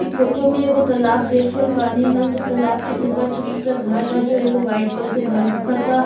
इ फोटो तालाब देख रहल बानी हम जो तलबा के ऊपर छोटा छोटा घर बा जो एगो वाइट कलर के घर दिखता।